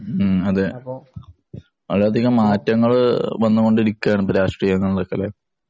മ്, അതേ. അവിടെയധികം മാറ്റങ്ങള് വന്നു കൊണ്ടിരിക്കുകയാണ് രാഷ്ട്രീയ